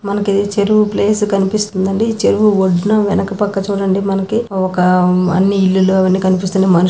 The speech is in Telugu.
మనకి ఇది చెరువు ప్లేస్ కనిపిస్తుందండి ఈ చెరువు ఒడ్డున వెనుక పక్క చూడండి మనకి ఒక ఉమ్ అన్ని ఇల్లుల్లు అవ్వన్నీ కనిపిస్తున్నాయి మనుషు--